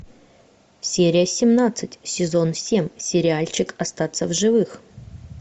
серия семнадцать сезон семь сериальчик остаться в живых